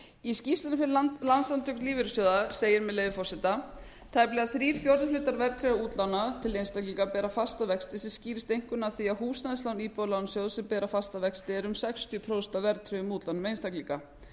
í skýrslunni sem landssamtök lífeyrissjóða segir með leyfi forseta tæplega þrír fjórðu hlutar útlána til einstaklinga bera fasta vexti sem skýrist einkum af því að húsnæðislán íbúðalánasjóðs sem bera fasta vexti eru um sextíu prósent af verðtryggðum útlánum einstaklinga